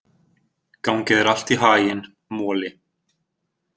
Gangi þér allt í haginn, Moli.